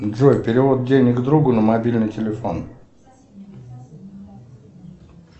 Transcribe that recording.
джой перевод денег другу на мобильный телефон